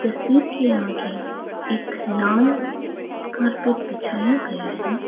तस्वीर के आगे एक लाल कारपेट बिछाया गया है।